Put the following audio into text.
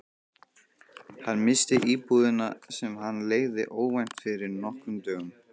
Hann missti íbúðina, sem hann leigði, óvænt fyrir nokkrum dögum.